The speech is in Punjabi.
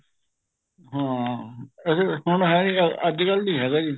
ਹਾ ਵੈਸੇ ਹੁਣ ਹੈਨੀ ਅੱਜਕਲ ਨਹੀਂ ਹੈਗਾ ਜੀ